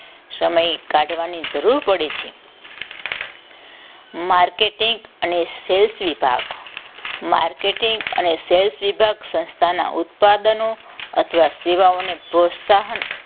સમય કાઢવાની જરૂર પડી હતી marketing અને self વિભાગ માર્કેટિંગ marketing અને self વિભાગ સંસ્થાના ઉત્પાદનો અથવા સેવાઓને પ્રોત્સાહન